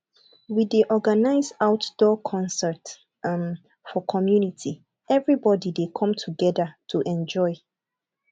we dey organize outdoor concerts um for community everybody dey come together to enjoy